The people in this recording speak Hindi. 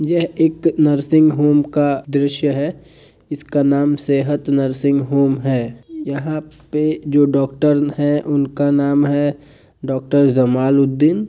यह एक नर्सिंग होम का दृश्य है इसका नाम सेहत नर्सिंग होम है यहां पे जो डॉक्टर है उनका नाम है डॉक्टर जमालुद्दीन।